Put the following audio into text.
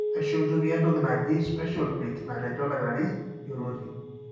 ashu intumia entoki naaji special pick natejo oldakitari yioloti.